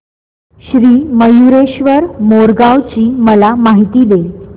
श्री मयूरेश्वर मोरगाव ची मला माहिती दे